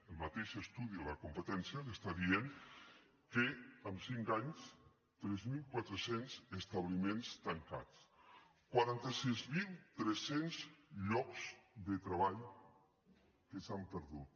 el mateix estudi de la competència els està dient que en cinc anys tres mil quatre cents establiments tancats quaranta sis mil tres cents llocs de treball que s’han perdut